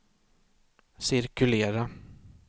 cirkulera